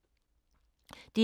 DR1